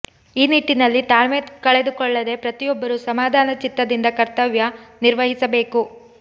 ಈ ನಿಟ್ಟಿನಲ್ಲಿ ತಾಳ್ಮೆ ಕಳೆದುಕೊಳ್ಳದೇ ಪ್ರತಿಯೊಬ್ಬರು ಸಮಧಾನ ಚಿತ್ತದಿಂದ ಕರ್ತವ್ಯ ನಿರ್ವಹಿಸಬೇಕು